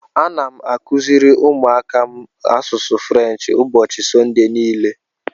Ana m akụziri ụmụaka m asụsụ French ụbọchị Sọnde niile.